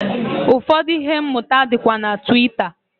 Ụfọdụ ihe mmụta dịkwa na Twitter.